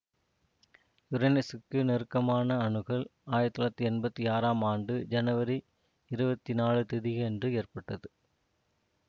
யுரேனசுக்கு நெருக்கமான அணுகல் ஆயிரத்தி தொள்ளாயிரத்தி எம்பத்தி ஆறாம் ஆண்டு ஜனவரி இருபத்தி நாலு திகதியன்று ஏற்பட்டது